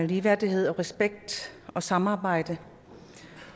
ligeværdighed respekt og samarbejde